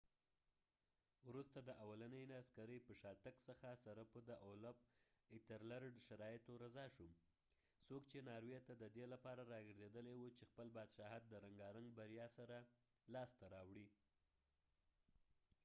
وروسته د اولنی عسکری په شا تګ څخه ایترلرډethelred د اولفolaf سره په شرایطو رضا شو ، څوک چې ناروي ته ددې لپاره راګرځیدلی و چې خپل بادشاهت د رنګارنګ بریا سره لاس ته راوړی